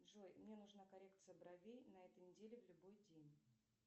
джой мне нужна коррекция бровей на этой неделе в любой день